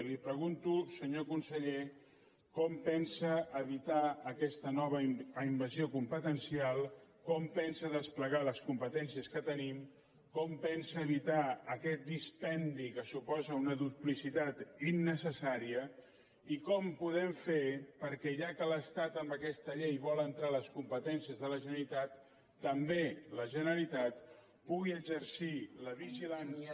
i li pregunto senyor conseller com pensa evitar aquesta nova invasió competencial com pensa desplegar les competències que tenim com pensa evitar aquest dispendi que suposa una duplicitat innecessària i com ho podem fer perquè ja que l’estat amb aquesta llei vol entrar a les competències de la generalitat també la generalitat pugui exercir la vigilància